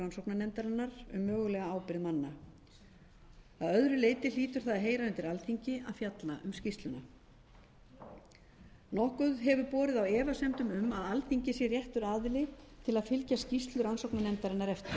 rannsóknarnefndarinnar um mögulega ábyrgð manna að öðru leyti hlýtur það að heyra undir alþingi að fjalla um skýrsluna nokkuð hefur borið á efasemdum um að alþingi sé réttur aðili til að fylgja skýrslu rannsóknarnefndarinnar eftir